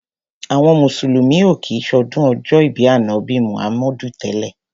Àwọn mùsùlùmí ò kí ń ṣọdún ọjọ́ ìbí Ànábì Muhammadu tẹ́lẹ̀.